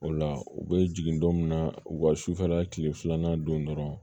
O la u bɛ jigin don min na u ka sufɛla tile filanan don dɔrɔn